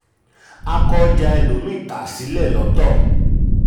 a kọ ọjà ẹlòmíì tà sílẹ̀ lọ́tọ̀.